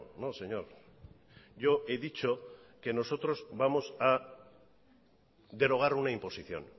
no señor yo he dicho que nosotros vamos a derogar una imposición